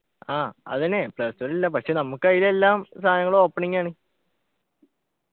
ആഹ് അതെന്നെ play store ൽ ഇല്ല പക്ഷെ നമുക്കതിലെല്ലാം സാധനങ്ങളും opening ആണ്